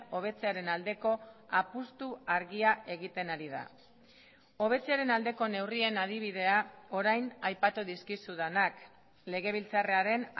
hobetzearen aldeko apustu argia egiten ari da hobetzearen aldeko neurrien adibidea orain aipatu dizkizudanak legebiltzarraren